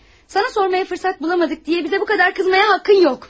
Sənə soruşmağa fürsət tapmadıq deyə bizə bu qədər qızmağa haqqın yoxdur.